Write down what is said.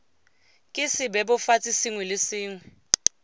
ke sebebofatsi sengwe le sengwe